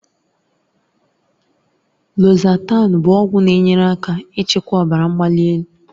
Losatan bụ ọgwụ na-enyere aka ịchịkwa ọbara mgbali.